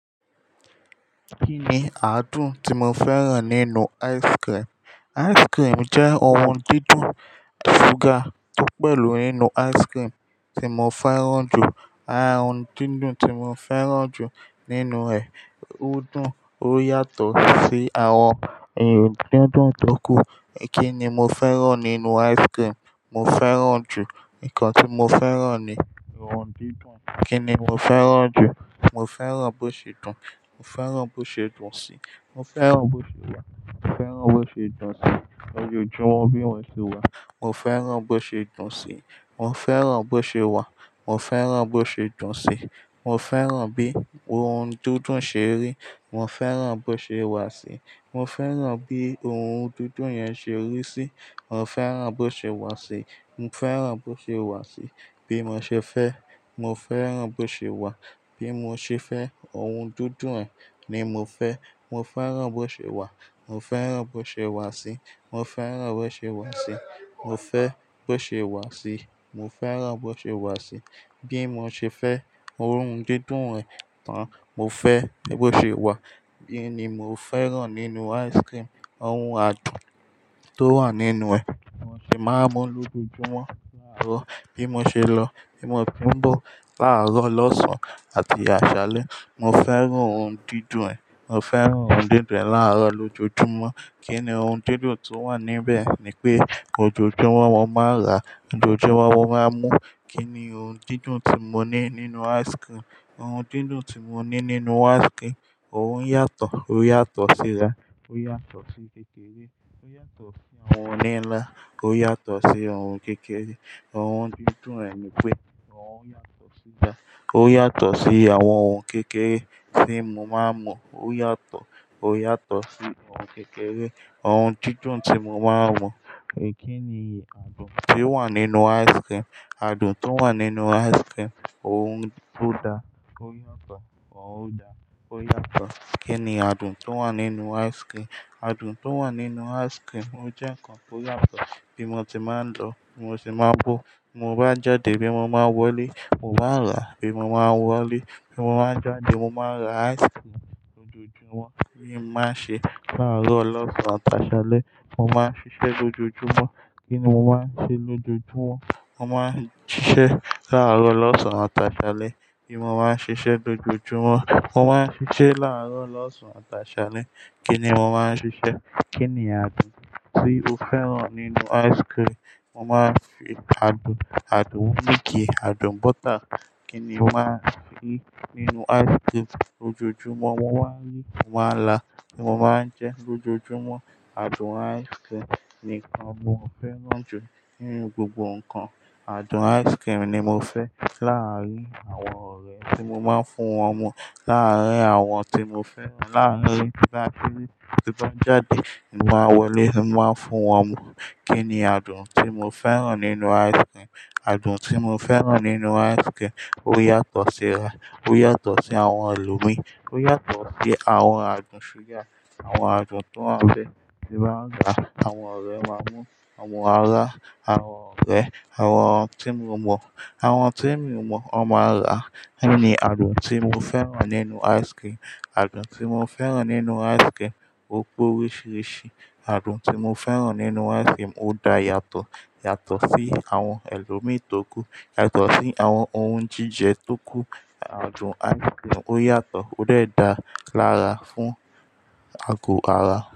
Kí ni adùn tí mo fẹ́ràn nínú ice cream? Ice cream jẹ́ ohun dídùn, súgà tó pẹ̀lú nínú ice cream tí mo fẹ́ràn jù. Àwon ohun dídùn tí mo fẹ́ràn jù nínú rẹ̀, ó dùn, ó yàtọ̀ sí àwọn ohun dídùn tó kù. Kí ni mo fẹ́ràn nínú ice cream? Mo fẹ́ràn jù. Nǹkan tí mo fẹ́ràn ni ohun dídùn. Kí ni mo fẹ́ràn jù? Mo fẹ́ràn bó ṣe dùn. Mo fẹ́ràn bó ṣe dùn sí i. Mo fẹ́ràn bó ṣe wà. Mo fẹ́ràn bó ṣe dùn sí i. Lójojúmọ́ bí i wọ́n ṣe wà. Mo fẹ́ràn bó ṣe dùn sí i. Mo fẹ́ràn bó ṣe wà. Mo fẹ́ràn bó ṣe dùn sí i. Mo fẹ́ràn bí ohun dídùn ṣe rí. Mo fẹ́ràn bó ṣe wà sí i. Mo fẹ́ràn bí ohun dídùn yẹn ṣe rí sí i. Mo fẹ́ràn bó ṣe wà sí i. Mo fẹ́ràn bó ṣe wà sí i. Bí mo ṣe fẹ́, mo fẹ́ràn bó ṣe wà. Bí mo ṣe fẹ́ ohun dídùn ẹ ni mo fẹ́. Mo fẹ́ràn bó ṣe wà. Mo fẹ́ràn bó ṣe wà sí i. Mo fẹ́ràn bó ṣe wà sí i. Mo fẹ́ bó ṣe wà sí i. Mo fẹ́ràn bó ṣe wà sí i. Bí mo ṣe fẹ́ orun dídùn rẹ tán, mo fẹ́ ẹ bó ṣe wà. È yi ni mo fẹ́ràn nínú ice cream. Awon adùn tó wà nínú ẹ, mo sì máa mú lójoojúmọ́ láàárọ̀ bí mo ṣe lọ, bí mo ti ń bọ̀, láàárọ̀, lọ̀sán àti àṣálẹ́. Mo fẹ́ràn ohun dídùn ẹ. Mo fẹ́ràn ohun dídùn ẹ láàárọ̀ lójoojúmọ́. Kí ni ohun dídùn tó wà níbẹ̀ ni pé ojoojúmọ́ mo máa rà, ojoojúmọ́ mo máa mú. Kí ni ohun dídùn tí mo ní nínú ice cream? Ohun dídùn tí mo ní nínú ice cream, ó ń yàtọ̀, ó yàtọ̀ síra, ó yàtọ̀ sí kékeré, ó yàtọ̀ sí àwọn oní ńlá, ó yàtọ̀ sí ohun kékeré. Ohun didun eh nipe, oyàto sí gan, oyàto si awon ohun kèkèrè ti mo ma n mu. Oyàto si ohun kèkèrè. Ohun dídùn tí mo máa ń mọ̀. Kí ni adùn tí ó wà nínú ice cream? Adun to wa ninu ice cream ohun odà, oyàto ohun o daàá. Oyàto. Kin mi adun to wà ninu kèkèrè. Adùn tó wà nínú ice cream o jẹ́ nǹkan tó yàtọ̀. Bí mo ti máa ń lọ, bí mo ti máa ń bọ̀, mo bá jáde bí mo máa wọlé, mo bá rà bí mo máa wọlé. Ti mo bà jàdé mo mà n lo ice cream loojo jumò. Kí màá ṣe láàárọ̀, lọ̀sán àti àṣálẹ́, mo máa ń ṣiṣẹ́ lójoojúmọ́. Kí ni mo máa ń ṣe lójoojúmọ́? Mo máa ń ṣiṣẹ́ láàárọ̀, lọ̀sán àti àṣálẹ́. Kí ni mo máa ń ṣiṣẹ́ lójoojúmọ́? Mo máa ń ṣiṣẹ́ láàárọ̀, lọ̀sán àti àṣálẹ́. Kí ni mo máa ń ṣiṣẹ́? Kini àdun ti o fèran ninu icecream. Mo máa ń fi adùn, adùn méjì, adùn bọ́tà. Kí ni mo máa ń fi nínú ice cream? Lojoojumo ni o ma n la, mo ma n je lojoojumo ati oun ni mo fèran ju ni nu gbogbo nkan. Adùn ice cream ni mo fẹ́ láàárín àwọn ọ̀rẹ́ tí mo máa ń fún wọn mọ, láàárín àwọn tí mo fẹ́ràn, láàárín láti bí i ti bá jáde nígbà wọlé ni mo máa ń fún wọn mu. Kí ni adùn tí mo fẹ́ràn nínú ice cream? Adùn tí mo fẹ́ràn nínú ice cream ó yàtọ̀ síra, ó yàtọ̀ sí àwọn ẹlòmíràn, ó yàtọ̀ sí àwọn adùn ṣúgà, àwọn adùn tó máa ń fẹ́, tí màá ń rà. Àwọn ọ̀rẹ́ máa mú, àwọn ará, àwọn ọ̀rẹ́, àwọn tí mo mọ̀, àwọn tí mi ò mọ̀, wọ́n máa rà. Kí ni adùn tí mo fẹ́ràn nínú ice cream? Adùn tí mo fẹ́ràn nínú ice cream, ó pé oríṣiríṣi. Adùn tí mo fẹ́ràn nínú ice cream ó da yàtọ̀, yàtọ̀ sí àwọn ẹlòmíràn tó kù, yàtọ̀ sí àwọn ohun jíjẹ tó kù. Adùn ice cream ó yàtọ̀, ó dọ́è daa lára fún ago ara.